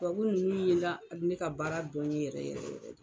Tubabu ninnu ye n ka ne ka baara dɔn n ye yɛrɛ yɛrɛ.